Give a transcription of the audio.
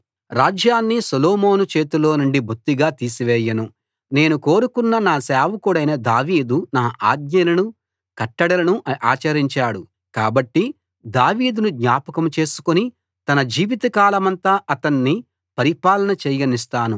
రాజ్యాన్ని సొలోమోను చేతిలోనుండి బొత్తిగా తీసివేయను నేను కోరుకున్న నా సేవకుడైన దావీదు నా ఆజ్ఞలను కట్టడలను ఆచరించాడు కాబట్టి దావీదును జ్ఞాపకం చేసుకుని తన జీవితకాలమంతా అతన్ని పరిపాలన చేయనిస్తాను